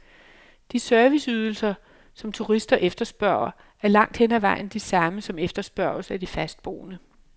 De serviceydelser, som turister efterspørger, er langt hen ad vejen de samme, som efterspørges af de fastboende.